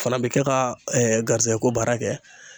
Fana be kɛ ka garizigɛ ko baara kɛ